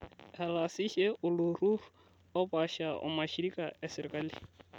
Etaasishe oltururri oopasha o mashirika e sirkali